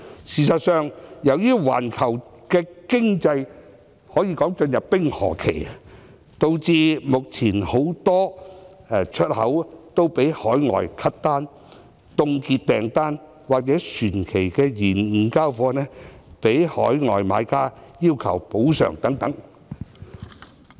事實上，由於環球經濟可說已進入冰河期，導致目前很多海外國家取消訂單、凍結訂單，或船期延誤交貨，被海外買家要求補償等。